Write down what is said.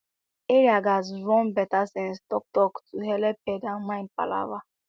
area gatz run better sense talktalk to helep head and mind palava